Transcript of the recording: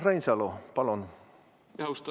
Urmas Reinsalu, palun!